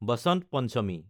বসন্ত পঞ্চমী